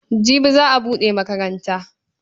Jibi za a buɗe makaranta.